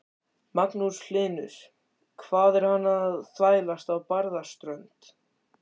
Magnús Hlynur: Hvað er hann að þvælast á Barðaströnd?